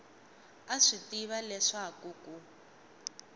a swi tiva leswaku ku